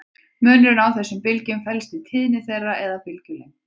Munurinn á þessum bylgjum felst í tíðni þeirra eða bylgjulengd.